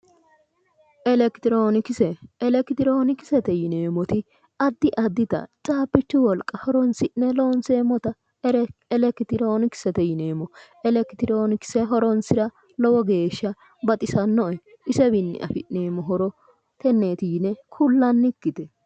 elekitiroonikise, elekitiroonikisete yineemmoti addi addita caabbichu wolqa horonsi'ne loonseemmota elekitiroonikisete yineemmo. elekitiroonikise horoonsira lowo geeshsha baxisanoe. isewiinni afi'neemmo horo tenneeti yine kullannikkite.